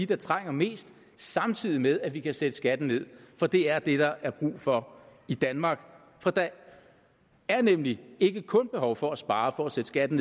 der trænger mest samtidig med at vi kan sætte skatten ned for det er det der er brug for i danmark der er nemlig ikke kun behov for at spare for at sætte skatten